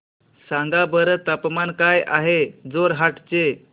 सांगा बरं तापमान काय आहे जोरहाट चे